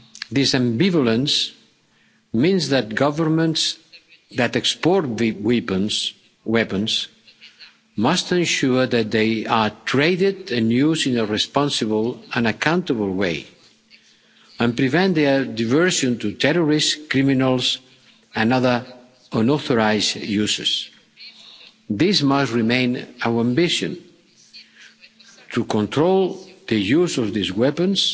This ambivalence means that governments that export the weapons must ensure that they are traded and used in a responsible and accountable way, and prevent their diversion to terrorists, criminals and other unauthorised users. This must remain our ambition to control the use of these weapons